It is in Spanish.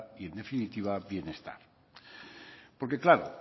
y en definitiva bienestar porque claro